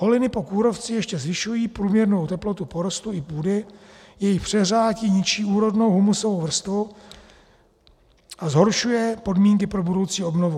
Holiny po kůrovci ještě zvyšují průměrnou teplotu porostů i půdy, její přehřátí ničí úrodnou humusovou vrstvu a zhoršuje podmínky pro budoucí obnovu.